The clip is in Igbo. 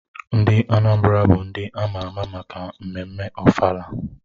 Ndị Anambra bụ ndị ama ama maka mmemme ofala